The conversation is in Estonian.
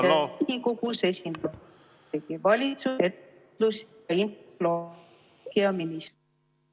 Riigikogus esindab Vabariigi Valitsust ettevõtlus‑ ja infotehnoloogiaminister.